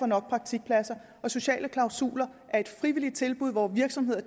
nok praktikpladser og sociale klausuler er et frivilligt tilbud hvor virksomheder